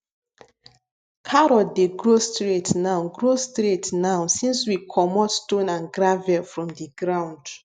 carrot dey grow straight now grow straight now since we comot stone and gravel from the ground